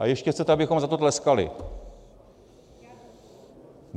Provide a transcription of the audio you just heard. A ještě chcete, abychom za to tleskali.